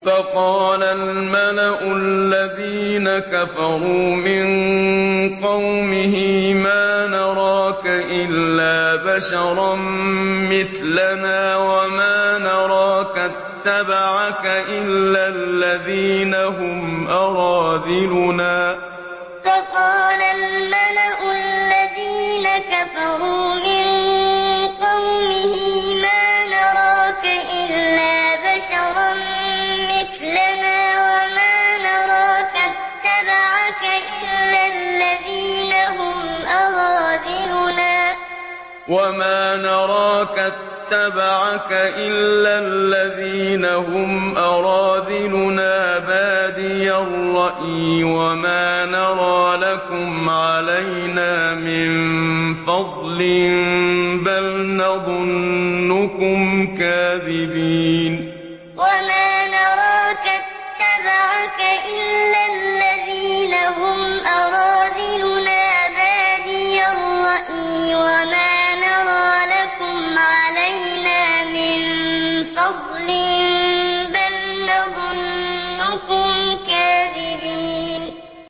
فَقَالَ الْمَلَأُ الَّذِينَ كَفَرُوا مِن قَوْمِهِ مَا نَرَاكَ إِلَّا بَشَرًا مِّثْلَنَا وَمَا نَرَاكَ اتَّبَعَكَ إِلَّا الَّذِينَ هُمْ أَرَاذِلُنَا بَادِيَ الرَّأْيِ وَمَا نَرَىٰ لَكُمْ عَلَيْنَا مِن فَضْلٍ بَلْ نَظُنُّكُمْ كَاذِبِينَ فَقَالَ الْمَلَأُ الَّذِينَ كَفَرُوا مِن قَوْمِهِ مَا نَرَاكَ إِلَّا بَشَرًا مِّثْلَنَا وَمَا نَرَاكَ اتَّبَعَكَ إِلَّا الَّذِينَ هُمْ أَرَاذِلُنَا بَادِيَ الرَّأْيِ وَمَا نَرَىٰ لَكُمْ عَلَيْنَا مِن فَضْلٍ بَلْ نَظُنُّكُمْ كَاذِبِينَ